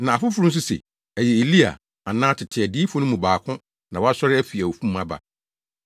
na afoforo nso se ɛyɛ Elia anaa tete adiyifo no mu baako na wasɔre afi awufo mu aba.